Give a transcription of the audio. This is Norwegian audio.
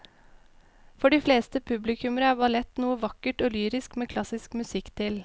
For de fleste publikummere er ballett noe vakkert og lyrisk med klassisk musikk til.